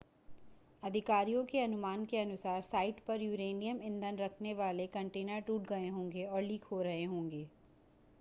अधिकारियों के अनुमान के अनुसार साइट पर यूरेनियम ईंधन रखने वाले कंटेनर टूट गए होंगे और लीक हो रहे होंगे